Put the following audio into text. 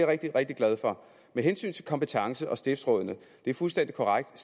rigtig rigtig glad for med hensyn til kompetencen og stiftsrådene det er fuldstændig korrekt